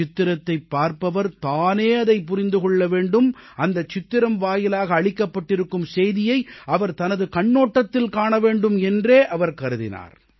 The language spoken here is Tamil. சித்திரத்தைப் பார்ப்பவர் தானே அதைப் புரிந்து கொள்ள வேண்டும் அந்தச் சித்திரம் வாயிலாக அளிக்கப்பட்டிருக்கும் செய்தியை அவர் தனது கண்ணோட்டத்தில் காண வேண்டும் என்றே அவர் கருதினார்